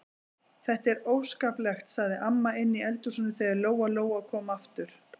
Þetta er óskaplegt, sagði amma inni í eldhúsi þegar Lóa-Lóa kom aftur.